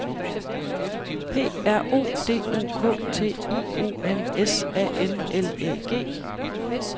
P R O D U K T I O N S A N L Æ G